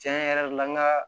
Tiɲɛ yɛrɛ la n ka